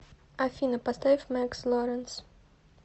афина поставь мэкс лоренс